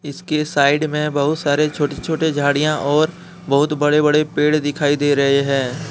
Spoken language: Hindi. इसके साइड में बहुत सारे छोटे छोटे झाड़ियां और बहुत बड़े बड़े पेड़ दिखाई दे रहे हैं।